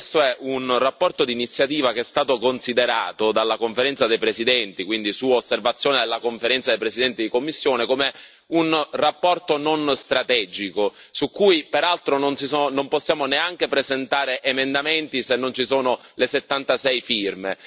Questa è una relazione d'iniziativa che è stata considerata dalla Conferenza dei presidenti, quindi su osservazione della Conferenza dei presidenti di commissione, come una relazione non strategica su cui, peraltro, non possiamo neanche presentare emendamenti se non ci sono le 76 firme.